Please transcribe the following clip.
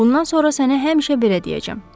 Bundan sonra səni həmişə belə deyəcəm: Orqan küləyi.